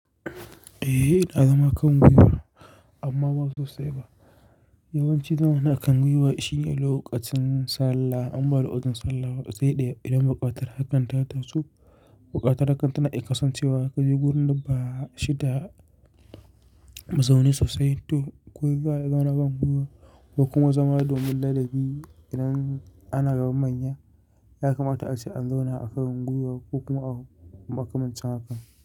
Eh, ina zama kan gwiwa amma ba sosai ba. Yawanci zaman a kan gwiwa shine lokacin sallah. Amma lokacin sallah zai ɗaya idan buƙatar hakan ta taso. Buƙatar hakan tana iyaƙasancewa ka je wurin da ba shi da mazauni sosai to ku za a zauna kan gwiwa, wa kuma zama domin ladabi idan ana ga manya. Yakamata ace an zauna a kan gwiwa ko kuma aka manta hakan.